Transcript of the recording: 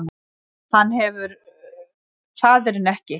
Hann hefur faðirinn ekki